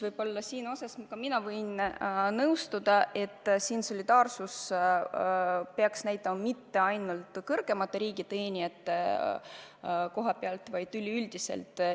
Ja mina võin nõustuda teiega, et solidaarsust peaks näitama mitte ainult kõrgemad riigiteenijad, vaid ka kõik teised.